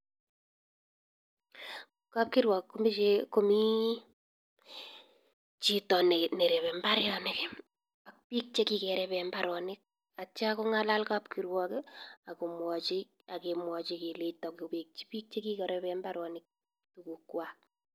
Kapkirwok komii chito ne rebee mbaronik ak bik che kikeree mbaronik atya kongalal kapkirwok akemwachi keleita kowechi bik chekikorebee tuguk kwak